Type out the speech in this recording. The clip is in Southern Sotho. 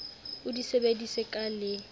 o di sebedise ka le